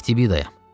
Eftibida yam.